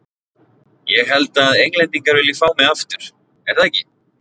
Ég held að Englendingar vilji fá mig aftur, er það ekki?